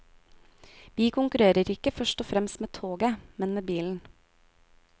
Vi konkurrerer ikke først og fremst med toget, men med bilen.